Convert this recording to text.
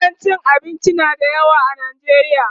gidan cin abinci na da yawa a Najeriya